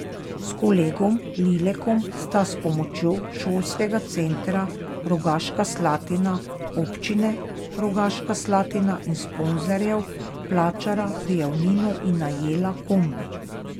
S kolegom Lilekom sta s pomočjo Šolskega centra Rogaška Slatina, občine Rogaška Slatina in sponzorjev plačala prijavnino in najela kombi.